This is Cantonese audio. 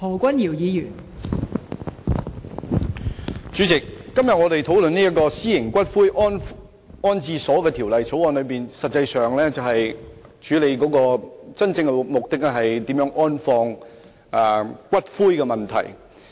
代理主席，我們今天討論《私營骨灰安置所條例草案》，真正的目的實際上是處理如何安放骨灰的問題。